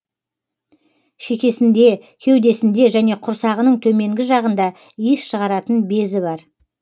шекесінде кеудесінде және құрсағының төменгі жағында иіс шығаратын безі бар